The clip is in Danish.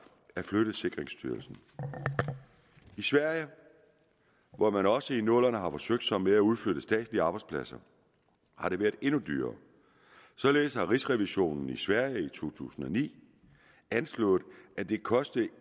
at flytte sikkerhedsstyrelsen i sverige hvor man også i nullerne har forsøgt sig med at udflytte statslige arbejdspladser har det været endnu dyrere således har riksrevisionen i sverige i to tusind og ni anslået at det kostede